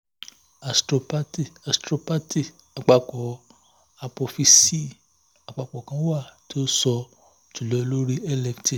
athropathy athropathy apapọ apophyseal apapọ kan wa ti o sọ julọ lori lft